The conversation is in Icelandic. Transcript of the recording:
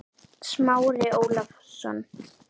Smári Ólason.